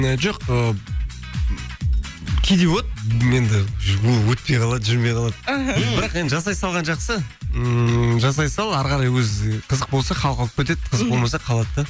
і жоқ ы кейде болады енді өтпей қалады жүрмей қалады іхі бірақ енді жасай салған жақсы ммм жасай сал әрі қарай өзі қызық болса халық алып кетеді қызық болмаса қалады да